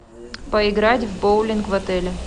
поиграть в боулинг в отеле